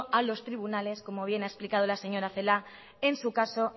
a los tribunales como bien ha explicado la señora celaá en su caso